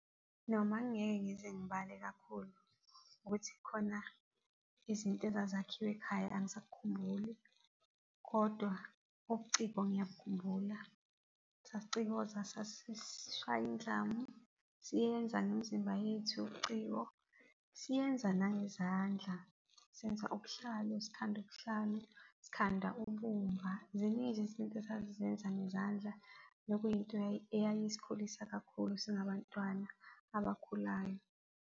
Noma ngingeke ngize ngibale kakhulu ukuthi khona izinto ezazakhiwe ekhaya angisakhumbuli kodwa ubuciko ngiyabukhumbula. Sasicikoza sasishaya indlamu, siyenza ngemzimba yethu ubuciko siyenza nangezandla, senza ubuhlalo, sikhanda ubuhlalo, sikhanda ubumba. Ziningi izinto esasizenza ngezandla, nokuyinto eyayisikhulisa kakhulu singabantwana abakhulayo.